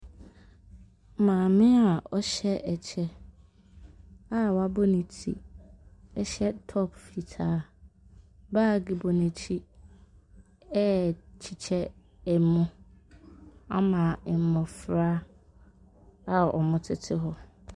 Maame a ɔhyɛ kyɛ a wabɔ ne ti hyɛ top fitaa, baage bɔ n’akyi ɛrekyekyɛ mo ama mmɔfra a wɔtete hɔ.